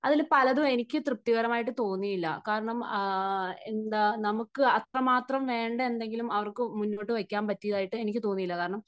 അതിൽ പലതും എനിക്ക് തൃപ്തികരമായി തോന്നിയില്ല കാരണം എന്താ നമുക്ക് അത്രമാത്രം വേണ്ട എന്തെങ്കിലും അവർക്ക് മുന്നോട്ടു വയ്ക്കാൻ പറ്റിയ ആയിട്ട് എനിക്ക് തോന്നിയില്ല, കാരണം